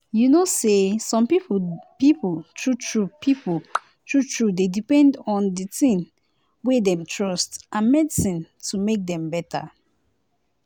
you know say some people true true people true true dey depend on di tin wey dem trust and medicine to make dem better.